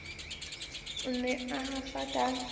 o ne a hafa ka